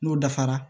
N'o dafara